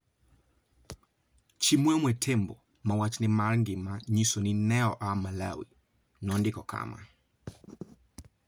Chimwemwe Tembo, ma wachne mar ngima nyiso ni ne oa Malawi, nondiko kama: